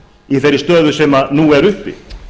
í þeirri stöðu sem nú er uppi